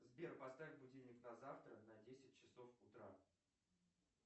сбер поставь будильник на завтра на десять часов утра